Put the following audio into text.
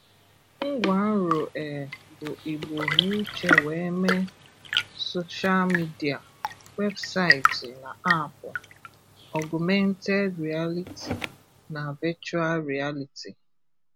Ngwànrò è bú Ígbò n'úché wée mèé, sòshál mìdíà, wébsaịtị nà àpù, ògùméntèd rìàlítì nà véchùàl rìàlítì.